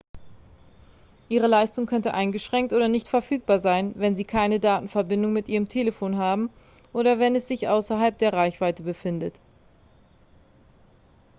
ihre leistung könnte eingeschränkt oder nicht verfügbar sein wenn sie keine datenverbindung mit ihrem telefon haben oder wenn es sich außerhalb der reichweite befindet